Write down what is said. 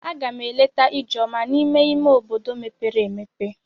A gam eleta Ijeoma n'ime ime obodo mepere emepe.